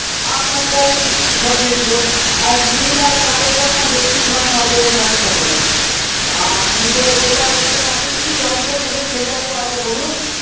আপনার টাই সরিয়ে দিল আর নীল আর কালো টা না বেশির ভাগ এ নজর এ থাকে সবারই। আপনি তো যেটা বলছেন আপনি কি রংটা নেবেন সেটা তো আগে বলুন?